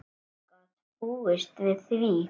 Hver gat búist við því?